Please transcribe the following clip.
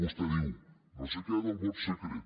vostè diu no sé què del vot secret